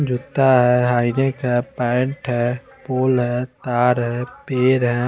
जूता है हाईनेक है पैंट है फूल है तार है पेड़ है--